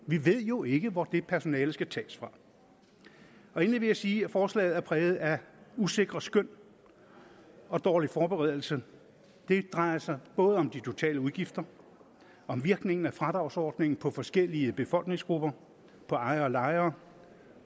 vi ved jo ikke hvor det personale skal tages fra endelig vil jeg sige at forslaget er præget af usikre skøn og dårlig forberedelse det drejer sig både om de totale udgifter og om virkningen er fradragsordningen på forskellige befolkningsgrupper på ejere og lejere